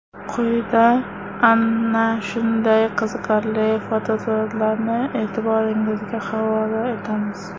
Quyida ana shunday qiziqarli fotosuratlarni e’tiboringizga havola etamiz.